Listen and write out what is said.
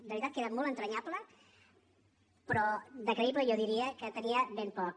de veritat que era molt entranyable però de creïble jo diria que tenia ben poc